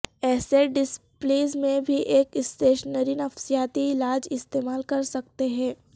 ایسے ڈسپلیز میں بھی ایک اسٹیشنری نفسیاتی علاج استعمال کرسکتے ہیں